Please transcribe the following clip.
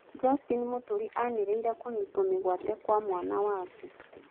Justin Muturi anĩrĩire kũnyitwo mĩgwate kwa mwana wake.